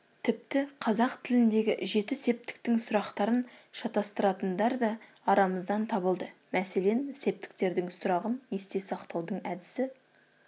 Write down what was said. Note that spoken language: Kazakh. тіпті қазақ тіліндегі жеті септіктің сұрақтарын шатыстыратындар да арамыздан табылды мәселен септіктердің сұрағын есте сақтаудың әдісі